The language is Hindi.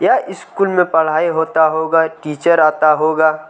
यह स्कूल में पढ़ाई होता होगा टीचर आता होगा।